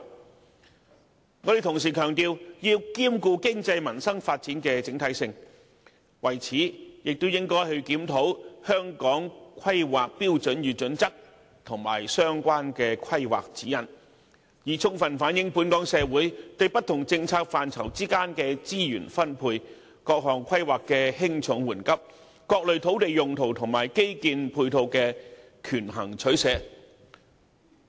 我們同時強調要兼顧經濟及民生發展的整體性，為此亦應檢討《香港規劃標準與準則》及相關的規劃指引，充分反映本港社會對不同政策範疇之間的資源分配、各項規劃的輕重緩急、各類土地用途及基建配套的權衡取捨。